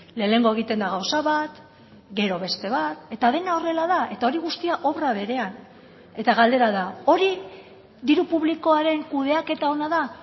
lehenengo egiten da gauza bat gero beste bat eta dena horrela da eta hori guztia obra berean eta galdera da hori diru publikoaren kudeaketa ona da